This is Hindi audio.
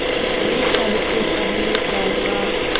मैं सबसे पहले जाऊँगा